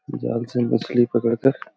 जल से मछली पकड़ कर --